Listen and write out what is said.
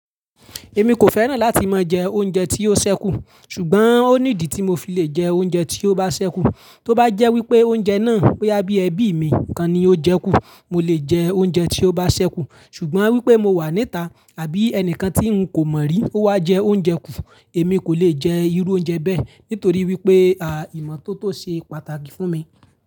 Èmi kò fẹ́ràn láti máa jẹ oúnjẹ tí ó ṣẹ́kù, ṣùgbọ́n ó ní ìdí tí mo fi le jẹ oúnjẹ tí ó bá ṣẹ́kù. Tó bá jẹ́ wípé oúnjẹ náà ó yá bí ẹbí mi kan ni ó jẹ kú, mo lè jẹ oúnjẹ tí ó bá ṣẹ́kù. Ṣùgbọ́n wípé mo wà níta àbí ẹnìkan tí ń kò mọ̀ rí ó wá jẹ oúnjẹ kú, èmi kò lè jẹ irú oúnjẹ bẹ́ẹ̀ nítorí wípé ìmo tó tó ṣe pàtàkì fún mi.